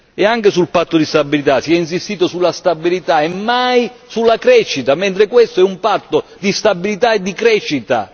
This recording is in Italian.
Ed anche sul patto di stabilità si è insistito sulla stabilità e mai sulla crescita, mentre questo è un patto di stabilità e di crescita.